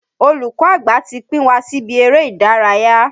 Olùkọ́ àgbà ti pín wa síbi eré ìdárayá.